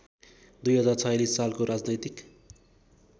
२०४६ सालको राजनैतिक